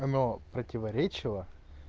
оно противоречило